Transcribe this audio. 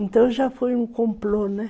Então já foi um complô, né?